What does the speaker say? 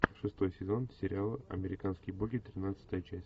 шестой сезон сериала американские боги тринадцатая часть